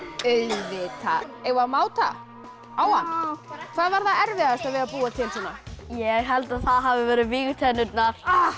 auðvitað eigum við að máta á hann hvað var erfiðast við að búa til svona ég held að það hafi verið vígtennurnar